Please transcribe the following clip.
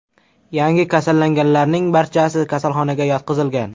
Yangi kasallanganlarning barchasi kasalxonaga yotqizilgan.